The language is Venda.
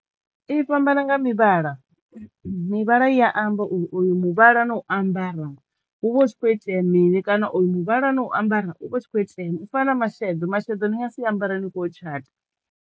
I fhambana nga mivhala. Mivhala i ya amba oyu muvhala no u ambara hu vha hu tshi khou itea mini kana o yu muvhala no u ambara u vha u tshi kho itea mini u fana na masheḓo, masheḓo ni nga si ambara ni kho u tshata.